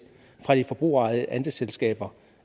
af de forbrugerejede andelsselskaber